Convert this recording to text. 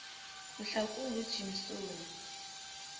mhlakungujimsoni